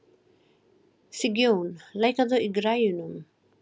Sigjón, lækkaðu í græjunum.